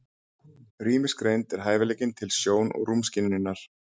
Rýmisgreind er hæfileikinn til sjón- og rúmskynjunar.